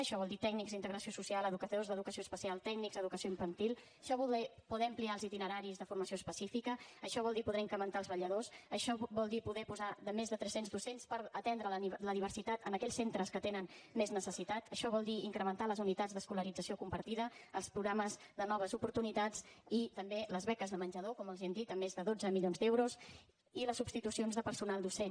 això vol dir tècnics d’integració social educadors d’educació especial tècnics d’educació infantil això vol dir poder ampliar els itineraris de formació específica això vol dir poder incrementar els vetlladors això vol dir poder posar més de tres cents docents per atendre la diversitat en aquells centres que en tenen més necessitat això vol dir incrementar les unitats d’escolarització compartida els programes de noves oportunitats i també les beques de menjador com els hem dit amb més de dotze milions d’euros i les substitucions de personal docent